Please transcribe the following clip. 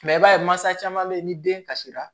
i b'a ye mansa caman bɛ yen ni den kasira